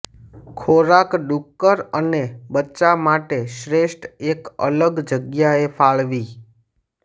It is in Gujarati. ખોરાક ડુક્કર અને બચ્ચા માટે શ્રેષ્ઠ એક અલગ જગ્યાએ ફાળવી